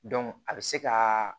a bɛ se ka